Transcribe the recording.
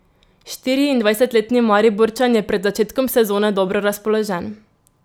Štiriindvajsetletni Mariborčan je pred začetkom sezone dobro razpoložen.